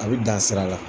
A bɛ dan sira la